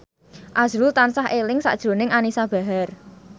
azrul tansah eling sakjroning Anisa Bahar